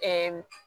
Ɛɛ